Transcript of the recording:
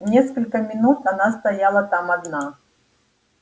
несколько минут она стояла там одна